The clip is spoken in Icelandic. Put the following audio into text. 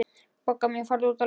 Bogga mín, farðu út að leika.